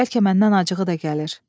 Bəlkə məndən acığı da gəlir.